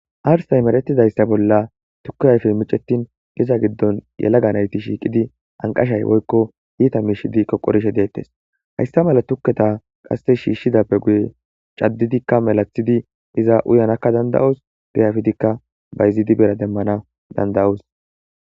Arsay marettidayssa bolla tukku ayfey micetin giza giddon yelaga nayti shiiqidi anqashay woykko iita miishidi koqorishe deettes hayssa mala tukketa qase shiishshidappe guye caddidikka melathidi iza uyanakka danda'os gayafidikka bayzidi bera demmana danda'os